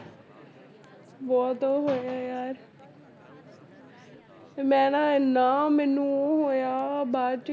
ਬਹੁਤ ਉਹ ਹੋਇਆ ਯਾਰ ਫਿਰ ਮੈਂ ਨਾ ਇੰਨਾ ਮੈਨੂੰ ਉਹ ਹੋਇਆ ਬਾਅਦ 'ਚ